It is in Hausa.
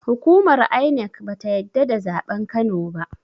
Hukumar INEC bata yadda da zaɓen kano ba